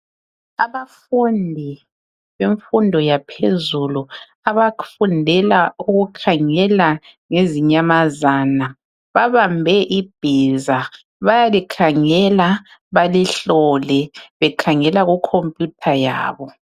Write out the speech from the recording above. Abafundi bemfundo yaphezulu abafundela ukukhangela ngezinyamazana babambe ibhiza bayalikhangela balihlole bekhangela ku khompiyutha yabo .